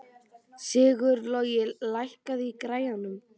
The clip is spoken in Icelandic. Sigurlogi, lækkaðu í græjunum.